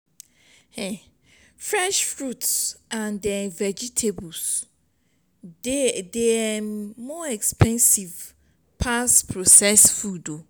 um fresh fruits and um vegetables dey de um more expensive pass processed food o